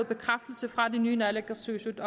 bekræftelse fra det nye naalakkersuisut